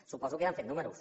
suposo que ja han fet números